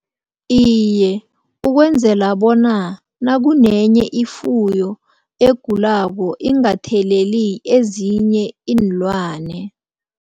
Iye ukwenzela bona nakunenye ifuyo egulako ingatheleli ezinye iinlwane.